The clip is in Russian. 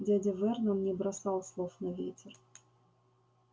дядя вернон не бросал слов на ветер